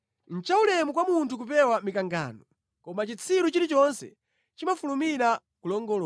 Nʼchaulemu kwa munthu kupewa mikangano, koma chitsiru chilichonse chimafulumira kulongolola.